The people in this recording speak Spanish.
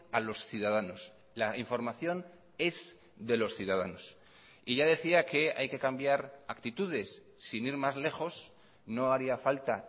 a los ciudadanos la información es de los ciudadanos y ya decía que hay que cambiar actitudes sin ir más lejos no haría falta